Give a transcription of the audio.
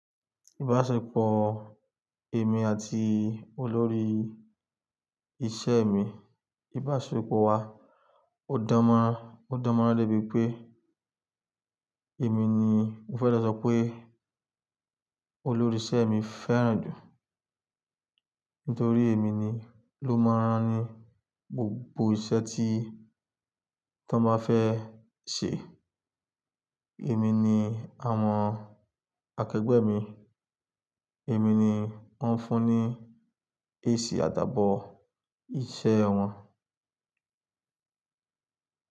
Ìbáṣepọ̀ èmi àti olórí iṣẹ́ mi, ìbáṣepọ̀ wa ò dánmọ́rán, ò dánmọ́rán lẹ́bi pé èmi ni mo fẹ́ lọ sọ pé olórí iṣẹ́ mi fẹ́ràn jù nítorí èmi ni o máa ń rán ni gbogbo iṣẹ́ tí wọ́n bá fẹ́ ṣe. Èmi ni àwọn akẹgbẹ́ mi, èmi ni wọ́n ń fún ní èsì àdàbọ̀ iṣẹ́ wọn.